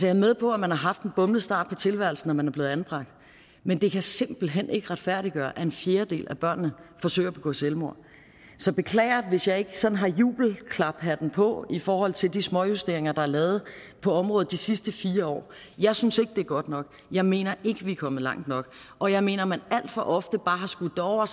er med på at man har haft en bumlet start på tilværelsen når man er blevet anbragt men det kan simpelt hen ikke retfærdiggøre at en fjerdedel af børnene forsøger at begå selvmord så beklager hvis ikke jeg sådan har jubelklaphatten på i forhold til de småjusteringer der er lavet på området de sidste fire år jeg synes ikke det er godt nok og jeg mener ikke vi er kommet langt nok og jeg mener at man alt for ofte bare har skudt det over